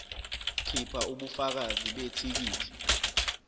khipha ubufakazi bethikithi